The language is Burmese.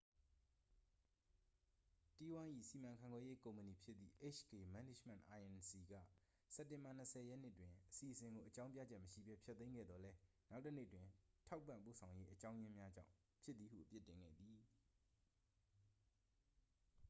တီးဝိုင်း၏ စီမံခန့်ခွဲရေးကုမ္ပဏီဖြစ်သည့် hk management inc က စက်တင်ဘာ 20 ရက်နေ့တွင် အစီအစဉ်ကို အကြောင်းပြချက်မရှိဘဲ ဖျက်သိမ်းခဲ့သော်လည်း နောက်တစ်နေ့တွင် ထောက်ပံ့ပို့ဆောင်ရေးအကြောင်းရင်းများကြောင့် ဖြစ်သည်ဟု အပြစ်တင်ခဲ့သည်